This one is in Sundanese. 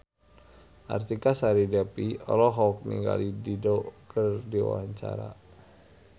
Artika Sari Devi olohok ningali Dido keur diwawancara